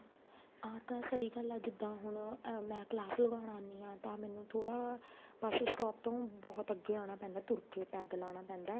ਆ ਤਾਂ ਸਹੀ ਗੱਲ ਹੈ ਜਿੱਦਾਂ ਹੁਣ ਮੈਂ class ਲਗਾਉਣ ਆਨੀ ਹਾਂ ਤਾਂ ਮੈਨੂੰ ਥੋੜਾ bus stop ਬਹੁਤ ਅੱਗੇ ਆਉਣਾ ਪੈਂਦਾ ਤੁਰ ਕੇ ਪੈਦਲ ਆਉਣਾ ਪੈਂਦਾ